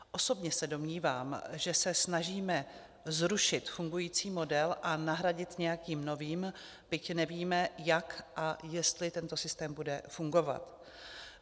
Osobně se domnívám, že se snažíme zrušit fungující model a nahradit nějakým novým, byť nevíme, jak a jestli tento systém bude fungovat.